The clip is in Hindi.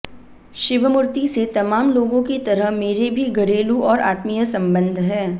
शिवमूर्ति से तमाम लोगों की तरह मेरे भी घरेलू और आत्मीय संबंध हैं